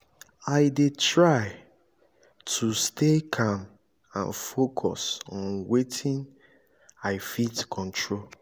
i dey try to stay calm and focus on wetin i fit control. i fit control.